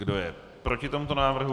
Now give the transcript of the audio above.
Kdo je proti tomuto návrhu?